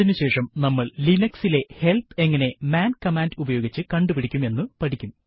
അതിനു ശേഷം നമ്മൾ Linuxലെ ഹെല്പ് എങ്ങനെ മാൻ കമാൻഡ് ഉപയോഗിച്ച് കണ്ടുപിടിക്കും എന്ന് പഠിക്കും